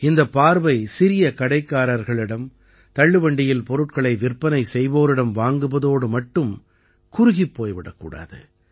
இந்தப் பார்வை சிறிய கடைக்காரர்களிடம் தள்ளுவண்டியில் பொருட்களை விற்பனை செய்வோரிடம் வாங்குவதோடு மட்டும் குறுகிப் போய் விடக் கூடாது